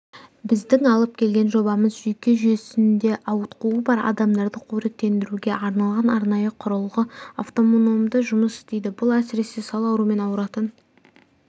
біздің алып келген жобамыз жүйке жүйесінде ауытқуы бар адамдарды қоректендіруге арналған арнайы құрылғы автономды жұмыс істейді бұл әсіресе сал аруымен ауыратын